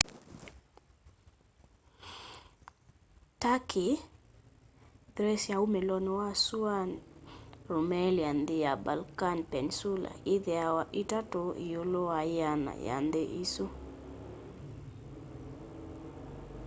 turkey thrace ya umilo wa sũana rumelia nthi wa balkan peninsula yithiawa 3 iũlũ wa 100 ya nthi isũ